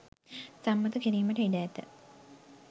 සම්මත කිරිමට ඉඩ ඇත